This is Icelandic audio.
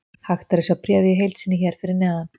Hægt er að sjá bréfið í heild sinni hér fyrir neðan.